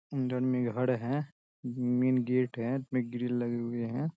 अंडन मे घर है मेन गेट है इसमें ग्रील लगे हुए हैं।